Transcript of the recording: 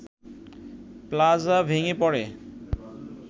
plaza ভেঙ্গে পড়ে